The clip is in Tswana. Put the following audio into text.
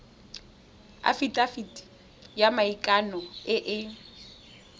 afitafiti ya maikano e e